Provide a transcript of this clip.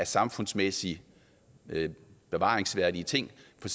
samfundsmæssigt bevaringsværdige ting for